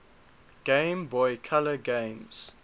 game boy color games